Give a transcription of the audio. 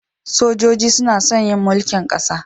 Sojoji suna son yin mulkin kasa.